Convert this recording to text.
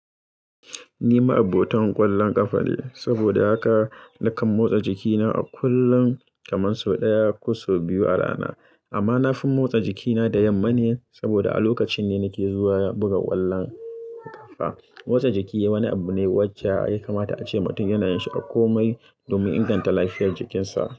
Ni ma abota ƙwallon ƙafa ne, saboda haka nakan motsa jikina a kullum kaman sau ɗaya ko sau biyu a rana. Amma na fi motsa jikina da yamma ne saboda a lokacin ne nake zuwa buga ƙwallon ƙafa. Motsa jiki wani abu ne wacce ya kamata ace mutum yana yin shi a komai domin inganta lafiyar jikinsa.